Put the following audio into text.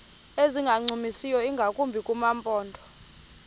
ezingancumisiyo ingakumbi kumaphondo